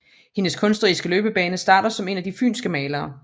Hendes kunstneriske løbebane starter som en af de fynske malere